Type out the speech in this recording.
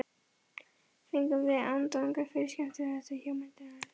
Fengum við undanþágu frá skemmtanaskatti hjá menntamálaráðuneytinu.